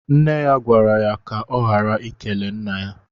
Nne ya gwara ya kà ọ ghara ikele Nna ya.